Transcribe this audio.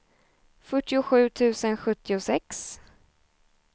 fyrtiosju tusen sjuttiosex